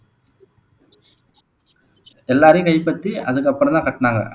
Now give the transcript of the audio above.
எல்லாரையும் கைப்பத்தி அதுக்கப்புறம் தான் கட்டினாங்க